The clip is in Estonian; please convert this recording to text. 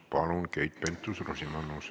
Palun, Keit Pentus-Rosimannus!